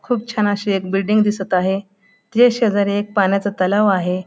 खूप छान अशी एक बिल्डिंग दिसत आहे. तीज्या शेजारी एक पाण्याचा तलाव आहे.